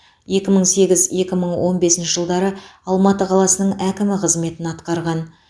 екі мың сегіз екі мың он бесінші жылдары алматы қаласының әкімі қызметін атқарған